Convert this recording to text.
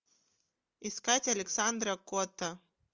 искать александра котта